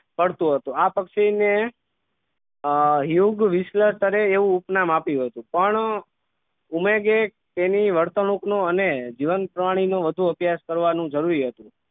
કરતું હતું આ પક્ષી ને યુગવીશલ સ્તરે એવું ઉપનામ આપ્યું હતું પણ ઉમેગે તેની વર્તણૂક નો અને જીવન પ્રાણી નું વધુ અભ્યાસ કરવાનું જરૂરી હતું